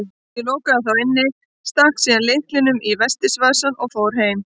Ég lokaði þá inni, stakk síðan lyklunum í vestis- vasann og fór heim.